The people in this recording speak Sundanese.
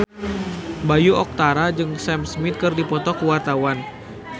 Bayu Octara jeung Sam Smith keur dipoto ku wartawan